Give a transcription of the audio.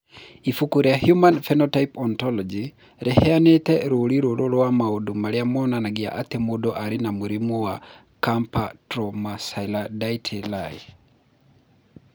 Ibuku rĩa Human Phenotype Ontology rĩheanĩte rũũri rũrũ rwa maũndũ marĩa monanagia atĩ mũndũ arĩ na mũrimũ wa Camptobrachydactyly.